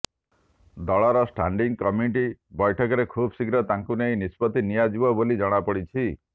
ଦଳର ଷ୍ଟାଣ୍ଡିଙ୍ଗ କମିଟିର ବୈଠକରେ ଖୁବଶୀଘ୍ର ତାଙ୍କୁ ନେଇ ନିଷ୍ପତ୍ତି ନିଆଯିବ ବୋଲି ଜଣାପଡ଼ିଛି